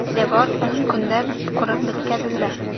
Devor o‘n kunda qurib bitkazildi.